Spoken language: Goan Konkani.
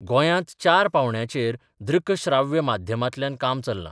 गोयांत चार पावंड्यांचेर दृक श्राव्य माध्यमांतल्यान काम चल्लां.